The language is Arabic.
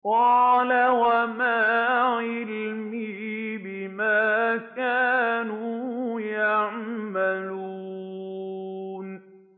قَالَ وَمَا عِلْمِي بِمَا كَانُوا يَعْمَلُونَ